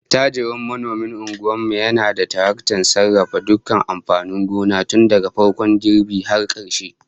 Attajirin manomin unguwar mu yana da taraktar sarrafa dukkan amfanin gona tun daga farkon girbi har karshe